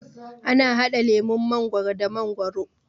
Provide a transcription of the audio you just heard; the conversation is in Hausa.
ana hada lemun mangwaro da mangwaro